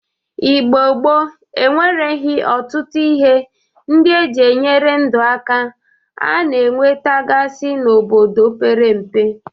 Igbo gboo enwereghi ọtụtụ ihe ndị e ji enyere ndụ aka a na-enwetagasị n'obodo mepere empe.